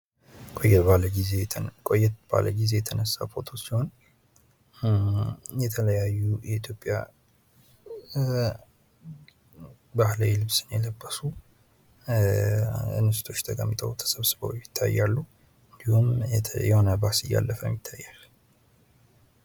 ቆየት ባለ ጊዜ የተነሳ ፎቶ ሲሆን የተለያዩ የኢትዮጵያ ባህላዊ ልብስ የለበሱ እንስቶች ተቀምጠው፣ ተሰብስበው ይታያሉ። እንዲሁም የሚያልፍ ባስ ይታያል።